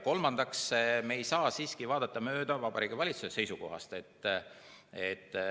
Kolmandaks, me ei saa vaadata mööda Vabariigi Valitsuse seisukohast.